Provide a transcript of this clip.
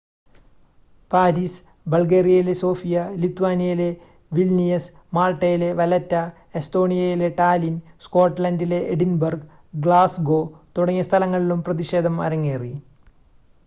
Paris ബൾഗേറിയയിലെ Sofia ലിത്വാനിയയിലെ Vilnius മാൾട്ടയിലെ വലെറ്റ എസ്തോണിയയിലെ ടാലിൻ സ്കോട്ട്ലൻഡിലെ എഡിൻബർഗ് ഗ്ലാസ്ഗോ തുടങ്ങിയ സ്ഥലങ്ങളിലും പ്രതിഷേധം അരങ്ങേറി